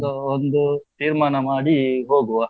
ಒಂದು, ತೀರ್ಮಾನ ಮಾಡಿ ಹೋಗುವಾ?